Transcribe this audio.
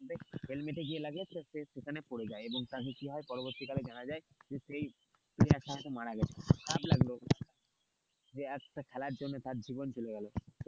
হেলমেটে গিয়ে লাগে এবং সে সেখানে পড়ে যায় এবং তার কি হয় পরবর্তীকালে জানা যায় যে সেই player মারা গেছে খারাপ লাগলো, যে একটা খেলার জন্য তার জীবন চলে গেলো,